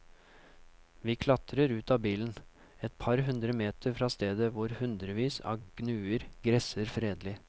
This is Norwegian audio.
Vi klatrer ut av bilen, et par hundre meter fra stedet hvor hundrevis av gnuer gresser fredelig.